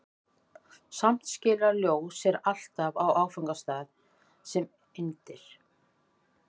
Samt skilar ljós sér alltaf á áfangastað sem eindir.